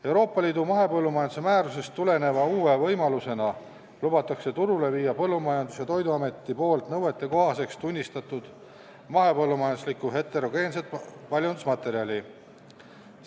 Euroopa Liidu mahepõllumajanduse määrusest tuleneva uue võimalusena lubatakse turule viia Põllumajandus- ja Toiduametis nõuetekohaseks tunnistatud mahepõllumajanduslikku heterogeenset paljundusmaterjali.